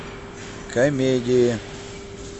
комедии